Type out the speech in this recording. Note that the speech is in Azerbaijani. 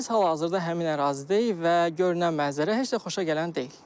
Biz hal-hazırda həmin ərazidəyik və görünən mənzərə heç də xoşagələn deyil.